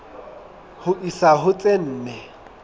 ho isa ho tse nne